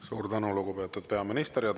Suur tänu, lugupeetud peaminister!